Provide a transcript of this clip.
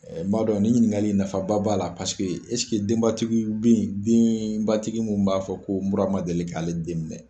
N b'a dɔn niin ɲininkali in nafaba b'a la paseke denbatigiw be yen denbatigi mun b'a fɔ ko nura ma deli k'ale den minɛ